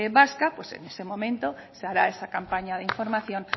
vasca en ese momento se hará esa campaña de información